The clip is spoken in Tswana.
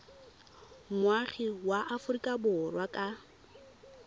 moagi wa aforika borwa ka